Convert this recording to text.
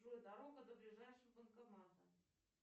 джой дорога до ближайшего банкомата